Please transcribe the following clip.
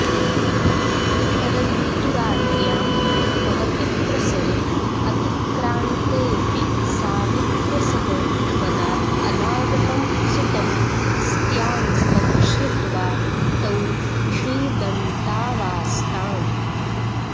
परन्तु रात्र्यां महति प्रसरे अतिक्रान्तेऽपि सावित्र्य सह वनाद् अनागतं सुतं स्त्यान्तं श्रुत्वा तौ विषीदन्तावास्ताम्